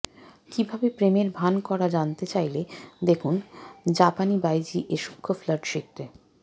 কিভাবে প্রেমের ভান করা জানতে চাইলে দেখুনঃ জাপানীবাইজি এ সূক্ষ্ম ফ্লার্ট শিখতে